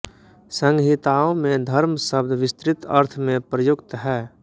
संहिताओं में धर्म शब्द विस्तृत अर्थ में प्रयुक्त है